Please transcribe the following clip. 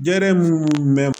Jɛgɛ minnu bɛ